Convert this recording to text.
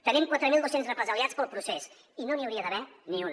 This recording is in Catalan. tenim quatre mil dos cents represaliats pel procés i no n’hi hauria d’haver ni un